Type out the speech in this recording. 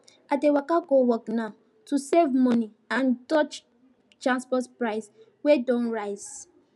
i dey waka go work now to save money and dodge transport price wey don rise